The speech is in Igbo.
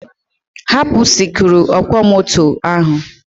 Hapụ sikruuọkwọmoto ahụ.